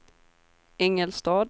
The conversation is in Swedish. Ingelstad